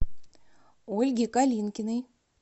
ольге калинкиной